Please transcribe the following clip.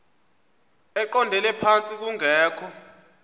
eqondele phantsi kungekho